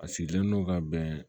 A sigilen no ka bɛn